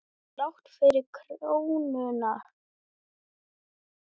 Og þrátt fyrir krónuna?